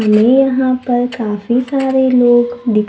हमें यहां पर काफी सारे लोग दिखा--